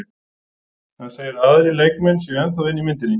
Hann segir að aðrir leikmenn séu ennþá inni í myndinni.